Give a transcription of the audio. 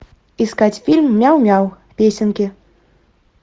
искать фильм мяу мяу песенки